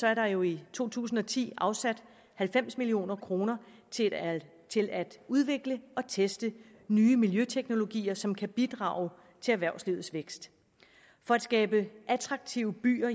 er der jo i to tusind og ti afsat halvfems million kroner til at udvikle og teste nye miljøteknologier som kan bidrage til erhvervslivets vækst for at skabe attraktive byer